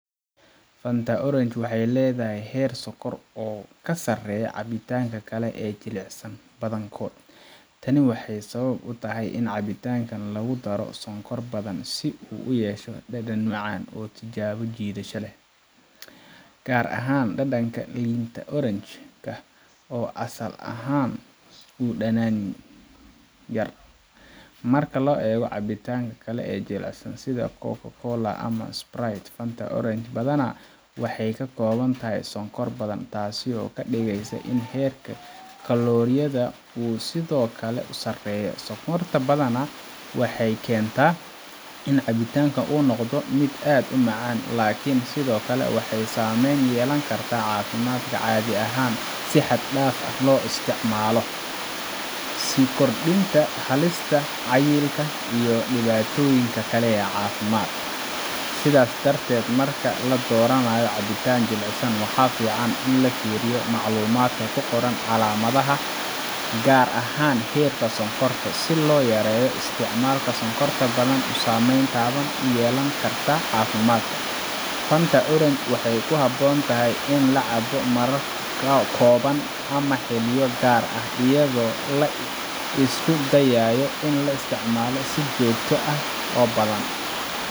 Fanta Orange waxay leedahay heer sonkor oo ka sarreeya cabitaannada kale ee jilicsan badankood. Tani waxay sabab u tahay in cabitaankan lagu daro sonkor badan si uu u yeesho dhadhan macaan oo soo jiidasho leh, gaar ahaan dhadhanka liinta orange ka oo asal ahaan u dhanaan yar. Marka loo eego cabitaannada kale ee jilicsan sida Coca-Cola ama Sprite, Fanta Orange badanaa waxay ka kooban tahay sonkor badan, taasoo ka dhigaysa in heerka kalooriyada uu sidoo kale sarreeyo. Sonkorta badan waxay keentaa in cabitaankan uu noqdo mid aad u macaan, laakiin sidoo kale waxay saamayn ku yeelan kartaa caafimaadka haddii si xad dhaaf ah loo isticmaalo, sida kordhinta halista cayilka iyo dhibaatooyinka kale ee caafimaad. Sidaa darteed, marka la dooranayo cabitaan jilicsan, waxaa fiican in la fiiriyo macluumaadka ku qoran calaamadda, gaar ahaan heerka sonkorta, si loo yareeyo isticmaalka sonkorta badan oo saameyn taban ku yeelan karta caafimaadka. Fanta Orange waxay ku habboon tahay in la cabo marar kooban ama xilliyo gaar ah, iyadoo la isku dayayo in aan la isticmaalin si joogto ah oo badan.